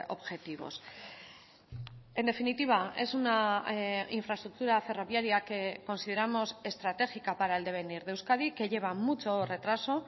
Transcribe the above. objetivos en definitiva es una infraestructura ferroviaria que consideramos estratégica para el devenir de euskadi que lleva mucho retraso